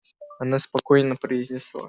она спокойно произнесла